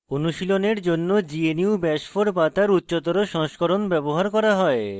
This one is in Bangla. অনুশীলনের জন্য gnu bash 4 bash তার উচ্চতর সংস্করণ ব্যবহার করা হয়